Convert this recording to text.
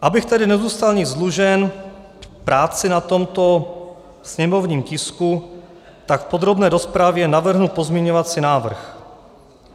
Abych tedy nezůstal nic dlužen práci na tomto sněmovním tisku, tak v podrobné rozpravě navrhnu pozměňovací návrh.